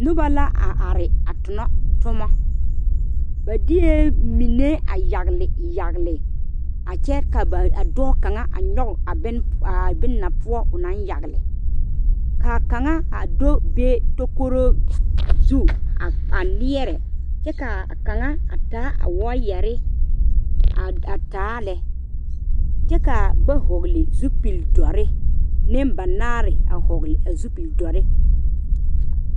Noba la are a tuna tuma ba deɛ mine yagle yagle a kyɛ ka ba dɔɔ kaŋa a nyoŋ a bon aa boma poɔ o naŋ yagle kaa kaŋa a do be takore zu a niɛre kyɛ kaa kaŋa a taa a wire a taa lɛ kyɛ kaa ba vɔgle zupele dore neŋ ba naare a vɔgle a zupele dɔre.